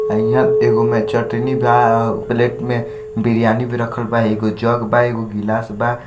High एगो में बा प्लेट में बिरयानी भी रखल बा एगो जग बा एगो ग्लास बा।